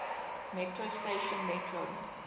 metro station metro